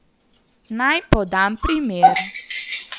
Naj podam primer.